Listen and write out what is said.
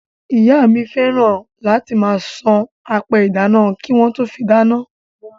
Ìyá mi fẹ́ràn láti máa san apẹ ìdáná kí wọ́n tó fí dáná.